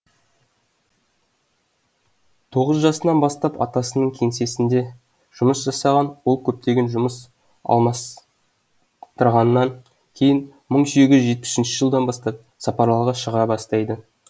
тоғыз жасынан бастап атасының кеңсесінде жұмыс жасаған ол көптеген жұмыс алмастырғаннан кейін мың сегіз жүз жетпіс үшінші жылдан бастап сапарларға шыға бастайды